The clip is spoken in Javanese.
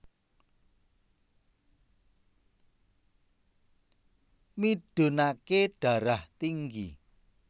Midunake Darah Tinggi